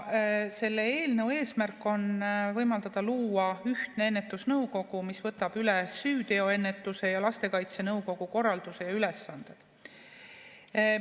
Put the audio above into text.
Selle eelnõu eesmärk on võimaldada luua ühtne ennetusnõukogu, mis võtab üle süüteoennetuse ja lastekaitse nõukogu korralduse ja ülesanded.